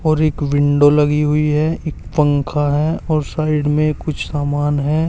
और एक विंडो लगी हुई है पंखा है और साइड में कुछ सामान है।